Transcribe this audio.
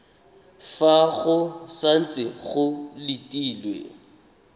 fa go santse go letilwe